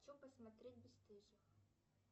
хочу посмотреть бесстыжих